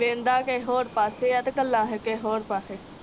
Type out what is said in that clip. ਵੇਂਹਦਾ ਕੇ ਹੋਰ ਪਾਸੇ ਆ, ਗੱਲਾਂ ਕੇ ਹੋਰ ਪਾਸੇ